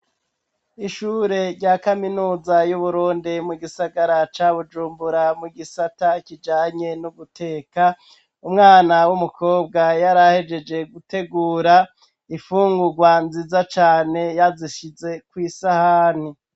Ishure rya kaminuza y'Uburundi mu gisagara ca Bujumbura mu gisata kijanye no guteka umwana w'umukobwa yari ahejeje gutegura imfungurwa nziza cane yazishize kw'isahani.